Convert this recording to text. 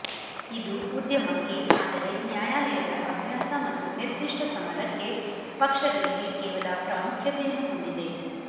ಇದು ಉದ್ಯಮಕ್ಕೆ ಆದರೆ ನ್ಯಾಯಾಲಯದ ಅಭ್ಯಾಸ ಮತ್ತು ನಿರ್ದಿಷ್ಟ ಸಮರಕ್ಕೆ ಪಕ್ಷಗಳಿಗೆ ಕೇವಲ ಪ್ರಾಮುಖ್ಯತೆಯನ್ನು ಹೊಂದಿದೆ